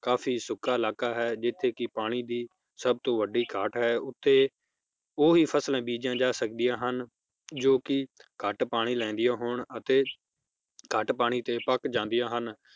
ਕਾਫੀ ਸੁੱਕਾ ਇਲਾਕਾ ਹੈ ਜਿਥੇ ਕਿ ਪਾਣੀ ਦੀ ਸਬ ਤੋਂ ਵੱਡੀ ਘਾਟ ਹੈ ਉਥ੍ਹੇ ਉਹ ਹੀ ਫਸਲਾਂ ਬੀਜੀਆਂ ਜਾ ਸਕਦੀਆਂ ਹਨ ਜੋ ਕਿ ਘਟ ਪਾਣੀ ਲੈਂਦੀਆਂ ਹੋਣ ਅਤੇ ਘੱਟ ਪਾਣੀ ਤੇ ਪਕ ਜਾਂਦੀਆਂ ਹਨ